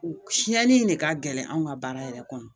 Siɲɛni in de ka gɛlɛn anw ka baara yɛrɛ kɔnɔ